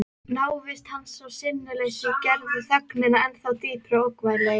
Návist hans og sinnuleysi gerðu þögnina ennþá dýpri og ógnvænlegri.